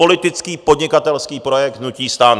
Politický podnikatelský projekt hnutí STAN.